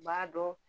U b'a dɔn